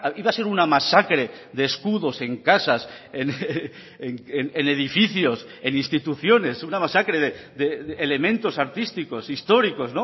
iba a ser una masacre de escudos en casas en edificios en instituciones una masacre de elementos artísticos históricos